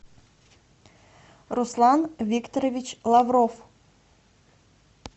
руслан викторович лавров